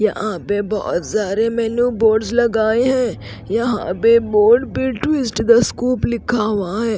यहां पे बहोत सारे मेनू बोर्ड्स लगाए हैं यहां पे बोर्ड पे ट्विस्ट द स्कूप लिखा हुआ है।